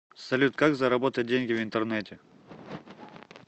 салют как заработать деньги в интернете